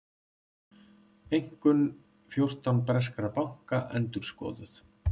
Einkunn fjórtán breskra banka endurskoðuð